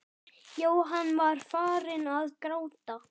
Jóhann var farinn að gráta.